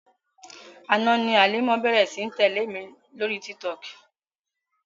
Àná ni Halima bẹ̀ẹ̀rẹ̀ sí ní tẹ̀lé mi lóri Tiktok.